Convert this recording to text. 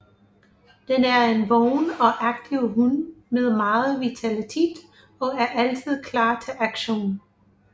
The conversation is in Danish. Den er en vågen og aktiv hund med meget vitalitet og er altid klar til aktion